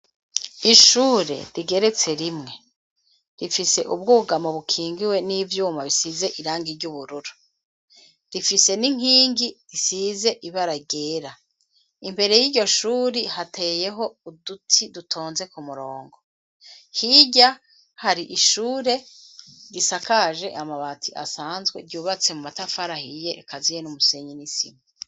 Ishure rigeretse rimwe rifise ubwugamo bukingiwe n' ivyuma vy' ubururu. Rifise n' inkingi isize ibara ryera. Imbere y' iryo shuri, hateyeho uduti dutonze ku murongo. Hirya hari ishuri risakaje amabati asanzwe, ryubatse mu matafari ahiye akaziye n' umusenyi n' isima.